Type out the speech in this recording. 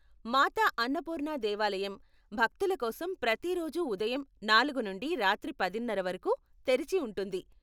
మాతా అన్నపూర్ణ దేవాలయం భక్తుల కోసం ప్రతిరోజూ ఉదయం నాలుగు నుండి రాత్రి పదిన్నర వరకు తెరిచి ఉంటుంది.